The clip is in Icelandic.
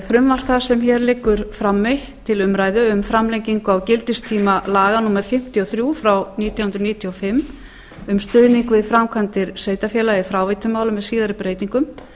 frumvarp það sem hér liggur frammi til umræðu um framlengingu á gildistíma laga númer fimmtíu og þrjú nítján hundruð níutíu og fimm um stuðning við framkvæmdir sveitarfélaga í fráveitumálum með síðar breytingum